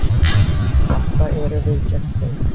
Þetta eru við gegn þeim.